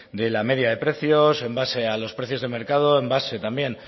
de la media de precios en base a los precios de mercado en base también